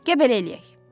Gəl belə eləyək.